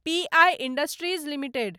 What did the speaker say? PI industries limited